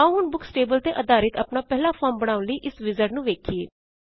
ਆਓ ਹੁਣ books table ਤੇ ਆਧਾਰਿਤ ਆਪਣਾ ਪਹਿਲਾ ਫੋਰਮ ਬਣਾਉਣ ਲਈ ਇਸ ਵਿਜ਼ਾਰਡ ਨੂੰ ਵੇਖਿਏ